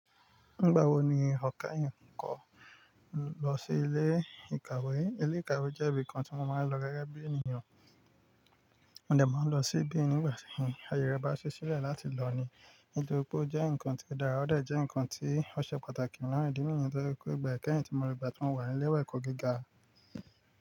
Nígbà wo ni ọ̀ kẹ́yín kọ lọ sí ilé ìkàwé? Ilé ìkàwé jẹ́ ibi kan tí mo máa ń lọ gege bí ènìyàn. Mo dẹ̀ máa ń lọ sí ibi nígba ti ayẹ rẹ bá ṣe sílẹ̀ láti lọ ni. Nitori pe ó jẹ́ nǹkan tí ó dára, ó dà jẹ́ nǹkan tí ó ṣe pàtàkì naa ìdí nìyen tó je pẹ́, igba kẹ́yìn tí mo rí i gbà tí wọ́n wà ní lẹ́wẹ̀ẹ́ ẹ̀kọ́ gíga.